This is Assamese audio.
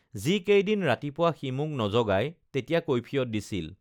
যিকেইদিন ৰাতিপুৱা সি মোক নজগায় তেতিয়া কৈফিয়ৎ দিছিল